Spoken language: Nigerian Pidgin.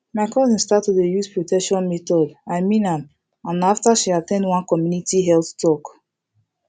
um my cousin start to dey use protection methods i mean am and na after she at ten d one community health talk